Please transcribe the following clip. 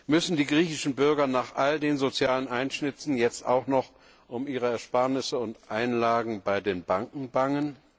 Müssen die griechischen Bürger nach all den sozialen Einschnitten jetzt auch noch um ihre Ersparnisse und Einlagen bei den Banken bangen?